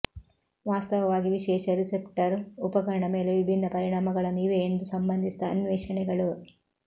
ವಾಸ್ತವವಾಗಿ ವಿಶೇಷ ರಿಸೆಪ್ಟರ್ ಉಪಕರಣ ಮೇಲೆ ವಿಭಿನ್ನ ಪರಿಣಾಮಗಳನ್ನು ಇವೆ ಎಂದು ಸಂಬಂಧಿಸಿದ ಅನ್ವೇಷಣೆಗಳು